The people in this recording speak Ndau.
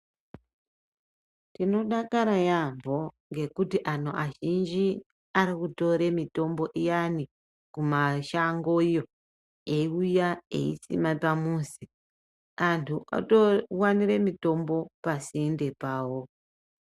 Tinodakara yaamho ngekuti anhu azhinji arikutore mitombo iyani kumashango iyo eiuya eisima pamuzi anhu otowanire mitombo pasinde pavo.